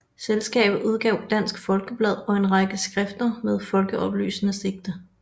Selskabet udgav Dansk Folkeblad og en række skrifter med folkeoplysende sigte